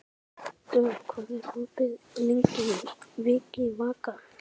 Dögg, hvað er opið lengi í Vikivaka?